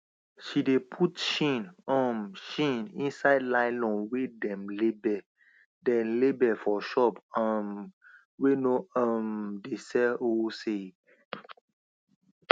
she de put chin um chin inside nylon wey dem label dem label for shops um wey no um dey sell wholesale